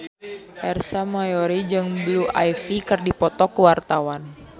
Ersa Mayori jeung Blue Ivy keur dipoto ku wartawan